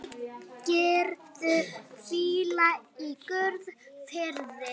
Megirðu hvíla í Guðs friði.